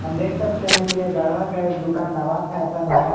देख सकते हैं कि ये गढ़वा का एक दुकान नवाब फैशन है।